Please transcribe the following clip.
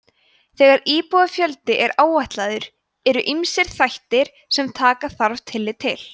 þegar íbúafjöldi er áætlaður eru ýmsir þættir sem taka þarf tillit til